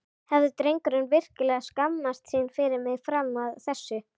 Hafði drengurinn virkilega skammast sín fyrir mig fram að þessu?